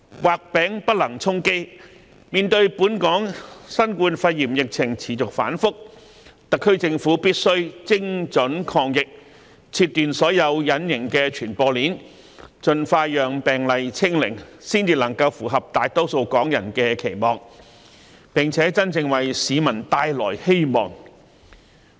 畫餅不能充飢，面對本港新冠肺炎疫情持續反覆，特區政府必須精準抗疫，切斷所有隱形傳播鏈，盡快令病毒"清零"，才能符合大多數港人的期望，並真正為市民帶來希望。